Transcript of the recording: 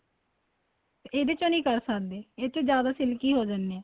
ਇਹਦੇ ਚ ਨਹੀਂ ਕਰ ਸਕਦੇ ਇਹ ਚ ਜਿਆਦਾ silky ਹੋ ਜਾਨੇ ਏ